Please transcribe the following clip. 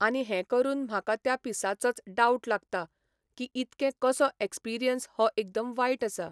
आनी हें करून म्हाका त्या पिसाचोच डावट लागता की इतकें कसो एक्सपिरियंस हो एकदम वायट आसा.